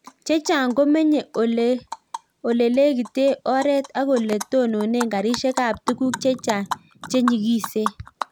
Chechang komenye olelekitee oreet ak olee tononee karisiek ap tuguk chechang chenyigisen